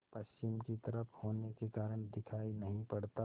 पश्चिम की तरफ होने के कारण दिखाई नहीं पड़ता